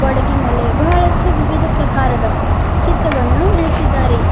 ಗ್ವಾಡಿಗಿ ಮೇಲೆ ಬಹಳಷ್ಟು ವಿವಿಧ ಪ್ರಕಾರದ ಚಿತ್ರವನ್ನು ಇಳಿಸಿದ್ದಾರೆ.